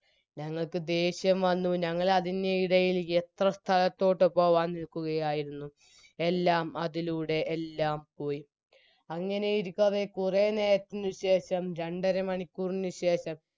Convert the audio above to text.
ഞങ്ങൾക്ക് ദേഷ്യം വന്നു ഞങ്ങൾ അതിനിടയിൽ എത്ര സ്ഥലത്തോട്ട് പോകാൻ നിൽക്കുകയായിരുന്നു എല്ലാം അതിലൂടെ എല്ലാം പോയി അങ്ങനെ ഇരിക്കവേ കുറെ നേരത്തിനു ശേഷം രണ്ടര മണിക്കൂറിനുശേഷം